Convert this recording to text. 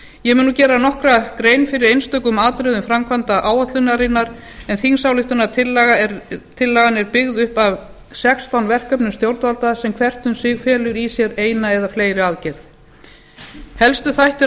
ég mun nú gera nokkra grein fyrir einstökum atriðum framkvæmdaáætlunarinnar en þingsályktunartillagan er byggð upp af sextán verkefnum stjórnvalda sem hvert um sig felur í sér eina eða fleiri aðgerðir helstu þættir